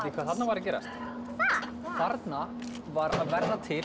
hvað þarna var að gerast þarna var að verða til